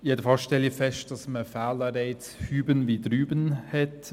Jedenfalls stelle ich fest, dass man Fehlanreize hüben wie drüben hat.